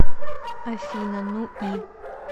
афина ну и